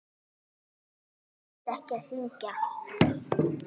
Mér leiðist ekki að syngja.